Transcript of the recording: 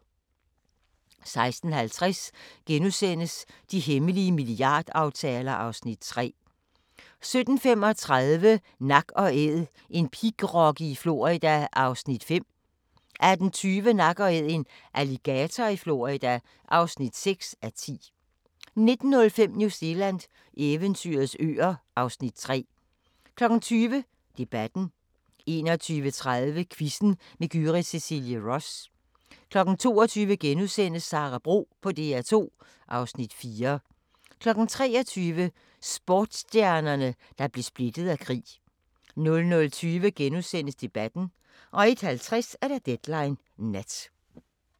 16:50: De hemmelige milliardaftaler (Afs. 3)* 17:35: Nak & Æd – en pigrokke i Florida (5:10) 18:20: Nak & Æd – en alligator i Florida (6:10) 19:05: New Zealand – eventyrets øer (Afs. 3) 20:00: Debatten 21:30: Quizzen med Gyrith Cecilie Ross 22:00: Sara Bro på DR2 (Afs. 4)* 23:00: Sportsstjernerne, der blev splittet af krig 00:20: Debatten * 01:50: Deadline Nat